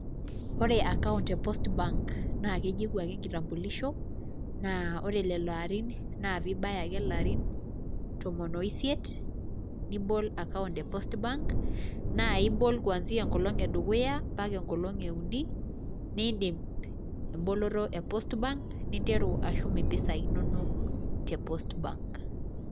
Ore account e post bank naake eyeu ake enkitambulisho, naa ore lelo arin naa piibaya ake ilarin tomon o isiet, nibol acount e post bank, naa ibol kuanzia enkolong' e dukuya mpaka enkolong' e uni niindim emboloto e post bank ninteru ashum impisai inonok te post bank.